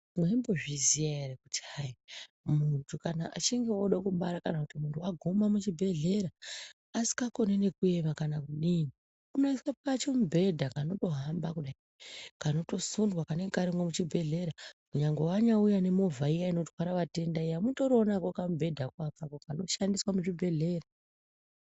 Mwaimbozviziya ere kuti hai muntu kana achinge ode kubara kan kuti wagume muchibhedhleya asikakoni nekuema kana kudii unoiswe pachimubhedha kanotohba kudai kanotosundwa kanemge karimwo muchibhedhlera nyangwe wanyauyawo nemovha inotwara vatenda iyani mutoriwo nako kamubhedha ko akako kanoshandiswa muzvibhedhlera.